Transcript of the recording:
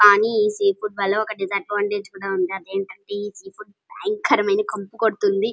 కానీ ఈ sea food వల్ల ఒక డిస్అడ్వాంటేజ్ కూడా ఉంది అదేటంటే ఈ సి ఫుడ్ భయంకరంగా కంపు కొడుతోంది --